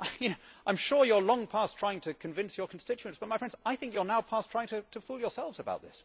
I am sure you are long past trying to convince your constituents but, my friends, I think you are now past trying to fool yourselves about this.